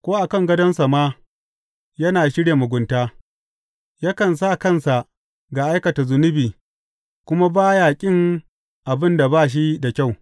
Ko a kan gadonsa ma yana shirya mugunta; yakan sa kansa ga aikata zunubi kuma ba ya ƙin abin da ba shi da kyau.